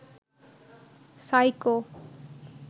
psycho